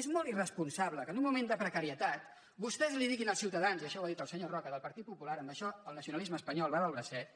és molt irresponsable que en un moment de precarietat vostès diguin als ciutadans i això ho ha dit el senyor roca del partit popular en això el nacionalisme espanyol va del bracet